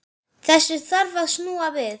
Þessu þarf að snúa við.